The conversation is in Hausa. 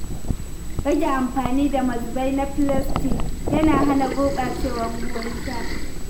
Rage amfani da mazubai na filastik yana hana gurɓacewar ruwan sha.